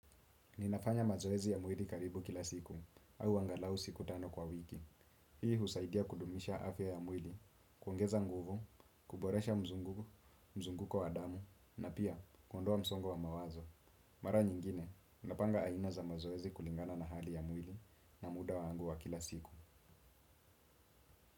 Ninafanya mazoezi ya mwili karibu kila siku, au angalau siku tano kwa wiki. Hii husaidia kudumisha afya ya mwili, kuongeza nguvu, kuboresha mzungu, mzunguko wa damu, na pia kuondoa msongo wa mawazo. Mara nyingine, napanga aina za mazoezi kulingana na hali ya mwili na muda wangu wa kila siku.